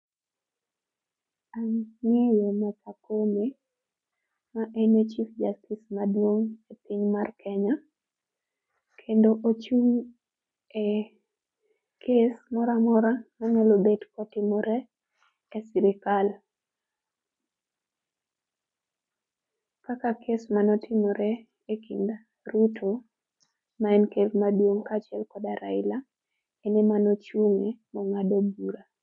An ang'eyo martha koome maene chief justice maduong e piny mar kenya kendo ochung e case moramora manyalo bet kotimore e sirikal kaka case manotimore e kind ruto maen ker maduong kaachiel kod raila ene mano chunge mongado bura